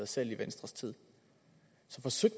selv i venstres tid